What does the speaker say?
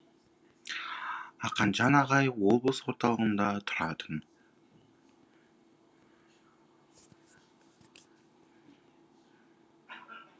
ақанжан ағай облыс орталығында тұратын